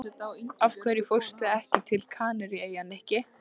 Af hverju fórstu ekki til Kanaríeyja, Nikki?